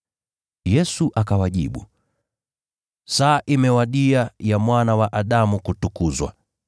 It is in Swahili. Yesu akawajibu, “Saa imewadia ya Mwana wa Adamu kutukuzwa.